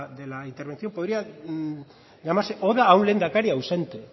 de la intervención podría llamarse oda a un lehendakari ausente